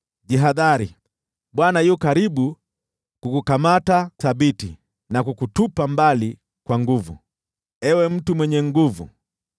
“Jihadhari, Bwana yu karibu kukukamata thabiti, na kukutupa mbali, ewe mtu mwenye nguvu.